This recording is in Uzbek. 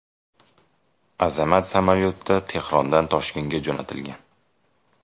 Azamat samolyotda Tehrondan Toshkentga jo‘natilgan.